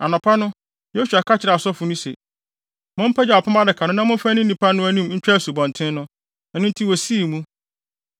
Anɔpa no, Yosua ka kyerɛɛ asɔfo no se, “Mompagyaw Apam Adaka no na momfa nni nnipa no anim ntwa asubɔnten no.” Ɛno nti wosii mu.